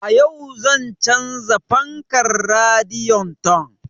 A yau zan canza fankar radiyeton